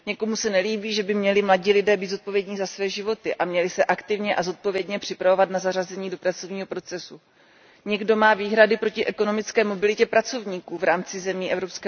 Někomu se nelíbí, že by měli mladí lidé být odpovědni za své životy a měli se aktivně a zodpovědně připravovat na zařazení do pracovního procesu. Někdo má výhrady proti ekonomické mobilitě pracovníků v rámci zemí EU.